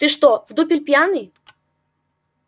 ты что в дупель пьяный